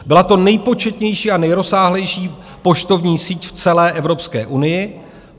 Byla to nejpočetnější a nejrozsáhlejší poštovní síť v celé Evropské unii.